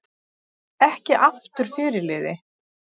Ekki aftur fyrirliði